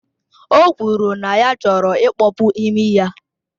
O kwuru na ya chọrọ ịkpọpu imi ya